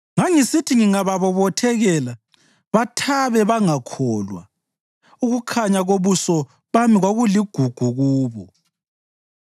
Ngangisithi ngingababobothekela, bathabe bangakholwa; ukukhanya kobuso bami kwakuligugu kubo.